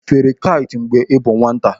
Ị fere kait mgbe ị bụ nwata?